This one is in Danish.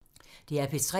DR P3